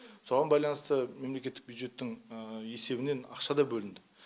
соған байланысты мемлкеттік бюджеттің есебінен ақша да бөлінді